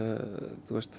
svo